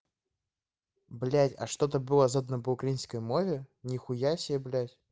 блять а что-то было задано по украинской мове нихуя себе блять